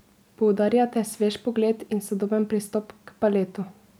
Poudarjate svež pogled in sodoben pristop k baletu.